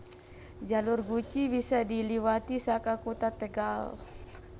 Jalur Guci bisa diliwati saka Kutha Tegal